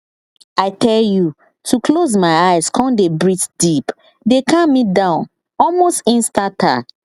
i tell you to close my eyes come dey breathe deep dey calm me down almost instanta